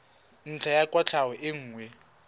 ntlha ya kwatlhao e nngwe